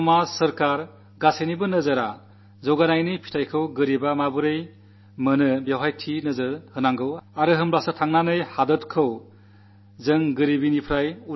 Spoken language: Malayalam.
സമൂഹത്തിന്റെ സർക്കാരുകളുടെ എല്ലാവരുടെയും ശ്രദ്ധ വികസനത്തിന്റെ നേട്ടം ദരിദ്രർക്ക് എങ്ങനെ കിട്ടാം എന്നതിൽ കേന്ദ്രീകരിക്കട്ടെ